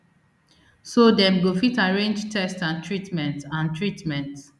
so dem go fit arrange test and treatment and treatment